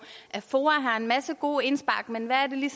at foa har en masse gode indspark men hvad